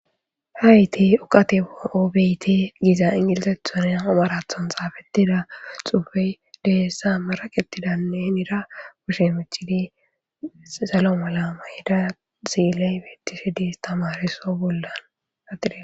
Hayti oqate oobeyti giza ingilisethonan amarathon xaafetida xuufey dehessa maraqetidanne ira wushe michidi salo mala mayyda ziiley beettishe di istamariso bollanatide.